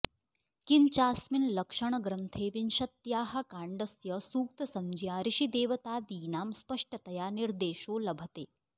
किञ्चास्मिन् लक्षणग्रन्थे विंशत्याः काण्डस्य सूक्तसंज्ञा ऋषिदेवतादीनां स्पष्टतया निर्देशो लभते